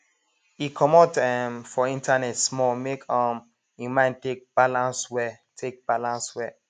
e comot um from internet small make um im mind take balance well take balance well